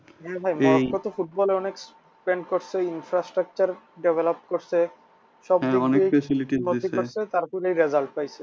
হ্যাঁ ভাই মরক্কো তো football এ অনেক spend করেছে structure develop করেছে তারপরে result পাইসে